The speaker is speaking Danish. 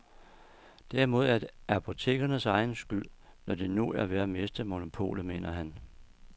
Dermed er det apotekernes egen skyld, når de nu er ved at miste monopolet, mener han.